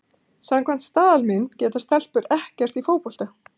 Samkvæmt staðalmynd geta stelpur ekkert í fótbolta.